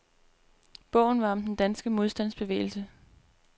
Bogen om den danske modstandsbevægelse.